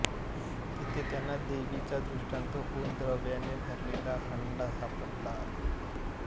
तिथे त्यांना देवीचा दृष्टांत होऊन द्रव्याने भरलेला हंडा सापडला